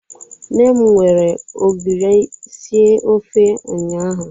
Nne m were ogiri sie ofe ụnyahụ